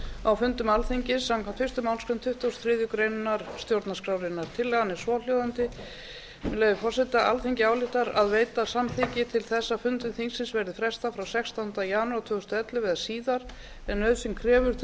á fundum alþingis samkvæmt fyrstu málsgrein tuttugustu og þriðju grein stjórnarskrárinnar tillagan er svohljóðandi með leyfi forseta alþingi ályktar að veita samþykki til þess að fundum þingsins verði frestað frá sextánda desember tvö þúsund og ellefu eða síðar ef nauðsyn krefur til